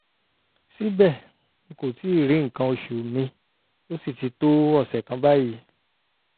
síbẹ̀ n kò tíì rí nǹkan oṣù mi ó sì ti tó ọ̀sẹ̀ kan báyìí